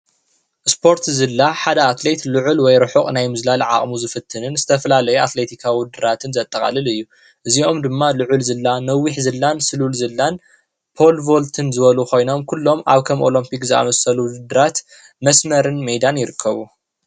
ስፖርት ዝላ ሓደ ኣትሌት ልዑል ወይ ሩሑቕ ናይ ምዝላል ዓቕሙ ዝፍትንን ዝተፈላለዩ ኣትለቲካዉ ውድድራት ዘጠቓልል እዩ፡፡ እዚኦም ድማ ልዑል ዝላን ስሉል ዝላን ሆል ቮልትን ዝበሉ ኮይኖም እዚኦም ኩሎም ኣብ ከም ኦሎምፒክ ዝኣመሰሉ ውድድራት መስመርን ሜዳን ይርከቡ፡፡